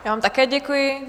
Já vám také děkuji.